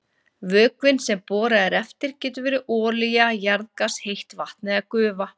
Vökvinn sem borað er eftir getur verið olía, jarðgas, heitt vatn eða gufa.